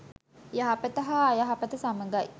යහපත හා අයහපත සමඟයි.